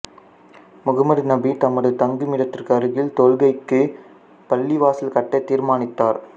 முகம்மது நபி தமது தங்குமிடத்திற்கு அருகில் தொழுகைக்கு பள்ளிவாசல் கட்ட தீர்மானித்தார்